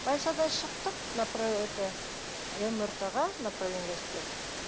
больницадан шықтық это мрт ға направление жазып берді